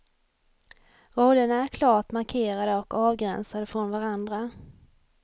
Rollerna är klart markerade och avgränsade från varandra.